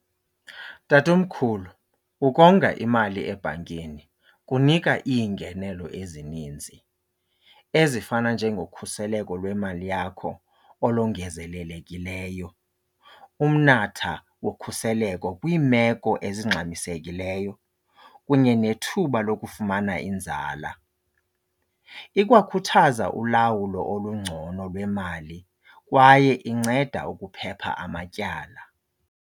Tatomkhulu, ukonga imali ebhankeni kunika iingenelo ezininzi ezifana njengokhuseleko lwemali yakho olongezelelekileyo, umnatha wokhuseleko kwiimeko ezingxamisekileyo kunye nethuba lokufumana inzala. Ikwakhuthaza ulawulo olungcono lwemali kwaye inceda ukuphepha amatyala.